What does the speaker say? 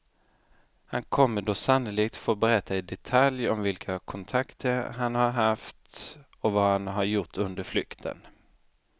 Han kommer då sannolikt få berätta i detalj om vilka kontakter han har haft och vad han har gjort under flykten.